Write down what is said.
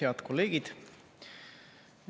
Head kolleegid!